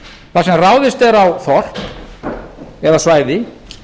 þar sem ráðist er á þorp eða svæði